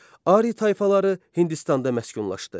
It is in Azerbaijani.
Ari tayfaları Hindistanda məskunlaşdı.